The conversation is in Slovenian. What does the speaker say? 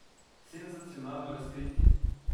Senzacionalno razkritje.